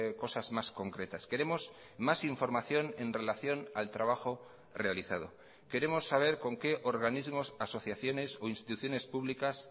cosas más concretas queremos más información en relación al trabajo realizado queremos saber con qué organismos asociaciones o instituciones públicas